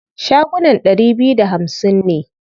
Shagunan ɗari biyu da hamsin ne.